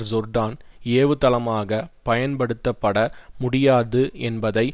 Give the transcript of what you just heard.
Jordan ஏவுதளமாகப் பயன்படுத்தப்பட முடியாது என்பதை